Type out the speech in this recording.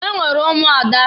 Enwere ụmụada.